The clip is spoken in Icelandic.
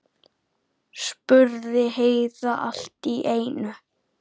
spurði Heiða allt í einu.